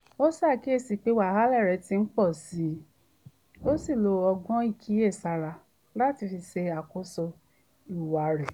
ó ṣàkíyèsí pé wàhálà rẹ ti ń pọ̀ síi ó sì lo ọgbọ́n ìkíyèsára láti fi ṣàkóso ìhùwà rẹ̀